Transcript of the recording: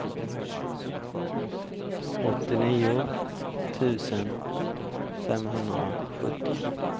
åttionio tusen femhundrasjutton